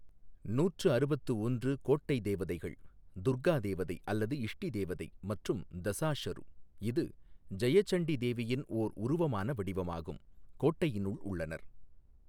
நூற்று அறுபத்து ஒன்று கோட்டை தேவதைகள், துர்கா தேவதை அல்லது இஷ்ஷ தேவதை மற்றும் தஸாஷரு, இது ஜெயசண்டி தேவியின் ஒரு உருவமான வடிவமாகும், கோட்டையினுள் உள்ளனர்.